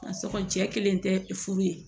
A sɔgɔlen kelen tɛ furu ye